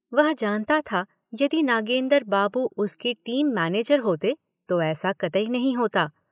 वह जानता था यदि नागेंदर बाबू उसके टीम मैनेजर होते तो ऐसा कतई नहीं होता।